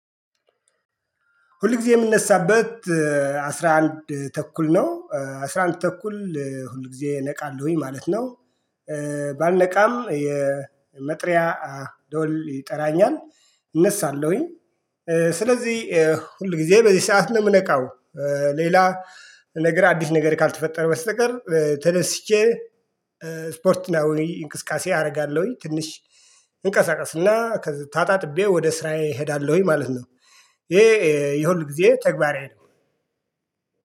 ሁል ጊዜ የምነሳበት አስራ አንድ ተኩል ነው አስራ አንድ ተኩል ሁል ጊዜ እነቃለሁኝ ማለት ነው። ባልነቃም የመጥሪያ ደወል ይጠራኛል እነሳለሁኝ። ስለዚህ ሁል ጊዜ በዚህ ሰዓት ነው የምነቃው። ሌላ ነገር አዲስ ነገር ካልተፈጠረ በስተቀር ተደስቼ። ስፖርት እና ወይ እንቅስቃሴ አደርጋለሁኝ ትንሽ እንቀሳቀስና ተጣጥቤ ወደ ስራዬ እሄዳለሁኝ ማለት ነው። ይሄ የሁል ጊዜ ተግባሬ ነው።